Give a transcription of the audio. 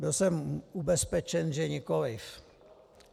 Byl jsem ubezpečen, že nikoliv.